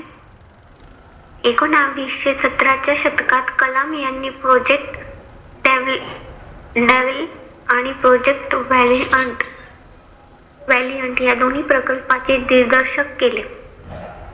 एकोनाविशे सतरा च्या शतकात कलाम यांनी project devil आणि project whale hunt या दोन्ही प्रकल्पाचे दिग्दर्शन केले.